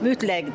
Mütləqdir.